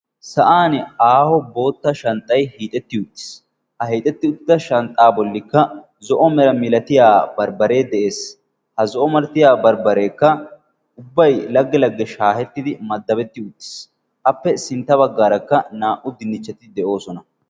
sa7an aaho bootta shanxxay hiixetti uttiis. ha hiixetti uttida shanxxaa bollikka zo7o mera milatiya barbbaree de7ees. ha zo7o malatiya barbbareekka ubbay lagge lagge shaahettidi maddabetti uttiis. appe sintta baggaarakka naa77u dinnichcheti de7oosona.